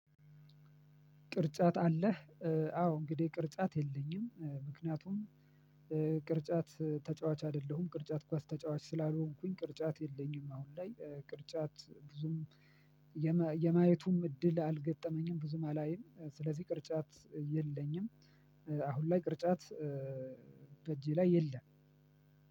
ቅርጫት አለህ? አዎ እንግዲህ ቅርጫት የለኝም። ምክንያቱም ቅርጫት ተጫዋች አይደለሁም። ቅርጫት ኳስ ተጫዋች ስላልሆንኩኝ ቅርጫት የለኝም አሁን ላይ። ቅርጫት ብዙም የማየቱም እድል አልገጠመኝም ብዙም አላይም ስለዚህ ቅርጫት የለኝም አሁን ላይ ቅርጫት በእጄ ላይ የለም።